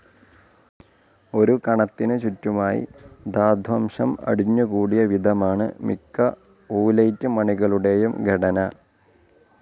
ഒരു കണത്തിനു ചുറ്റുമായി ധാത്വംശം അടിഞ്ഞുകൂടിയ വിധമാണ് മിക്ക ഊലൈറ്റ് മണികളുടെയും ഘടന.